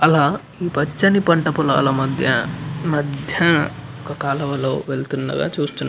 అలా పచ్చని పంటలో మధ్య మధ్య ఒక కాలవలో వెళ్తున్నట్టు చూస్తాము --